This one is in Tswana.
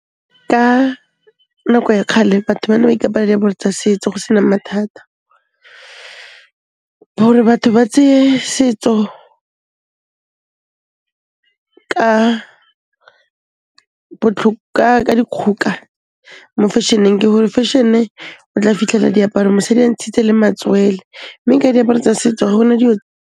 Ka, nako ya kgale batho ba ne ba ikaparela diaparo tsa setso go sena mathata . Hore batho ba tseye setso ka, ka dikgoka, mo fashion-eng ke gore fashion-e, o tla fitlhela diaparo mosadi ntshitse le matswele. Mme ka diaparo tsa setso ga gona dilo.